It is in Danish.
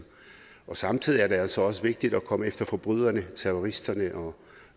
samtidig er det altså også vigtigt at komme efter forbryderne og terroristerne og